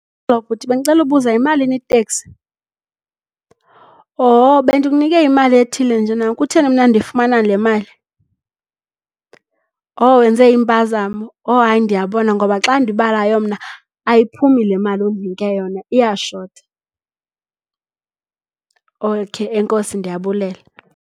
bhuti bendicela ukubuza yimalini iteksi? Oh, bendikunike imali ethile njena. Kutheni mna ndifumana le mali? Oh, wenze impazamo? Oh, hayi, ndiyabona ngoba xa ndiyibalayo mna ayiphumi le mali ondinike yona, iyashota. Okheyi enkosi, ndiyabulela.